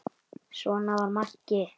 Svona var Maggi.